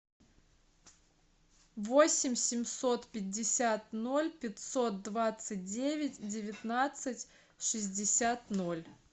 восемь семьсот пятьдесят ноль пятьсот двадцать девять девятнадцать шестьдесят ноль